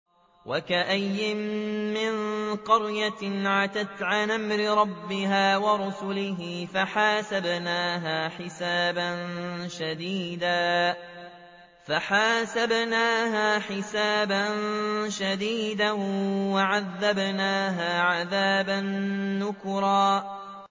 وَكَأَيِّن مِّن قَرْيَةٍ عَتَتْ عَنْ أَمْرِ رَبِّهَا وَرُسُلِهِ فَحَاسَبْنَاهَا حِسَابًا شَدِيدًا وَعَذَّبْنَاهَا عَذَابًا نُّكْرًا